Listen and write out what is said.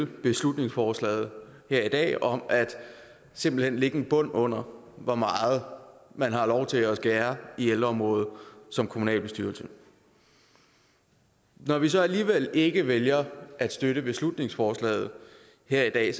beslutningsforslaget her i dag om simpelt hen at lægge en bund under hvor meget man har lov til at skære i ældreområdet som kommunalbestyrelse når vi så alligevel ikke vælger at støtte beslutningsforslaget her i dag